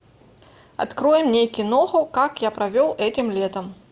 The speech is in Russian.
открой мне киноху как я провел этим летом